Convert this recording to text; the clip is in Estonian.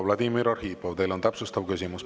Vladimir Arhipov, teil on täpsustav küsimus.